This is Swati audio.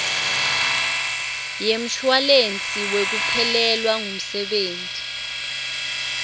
yemshuwalensi wekuphelelwa ngumsebenti